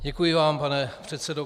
Děkuji vám, pane předsedo.